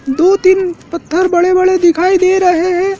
दो तीन पत्थर बड़े बड़े दिखाई दे रहे हैं।